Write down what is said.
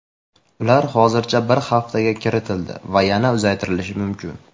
Ular hozircha bir haftaga kiritildi va yana uzaytirilishi mumkin.